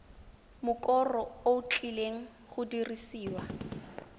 mokoro o tlileng go dirisiwa